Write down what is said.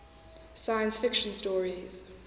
science fiction stories